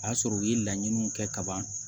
O y'a sɔrɔ u ye laɲiniw kɛ ka ban